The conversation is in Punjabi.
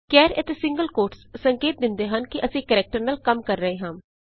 ਕੈਰ ਅਤੇ ਸਿੰਗਲ ਕੋਟਸ ਸੰਕੇਤ ਦਿੰਦੇ ਹਨ ਕਿ ਅਸੀਂ ਕਰੈਕਟਰ ਨਾਲ ਕੰਮ ਕਰ ਰਹੇ ਹਾਂ